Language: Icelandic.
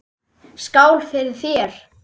Skál fyrir þér.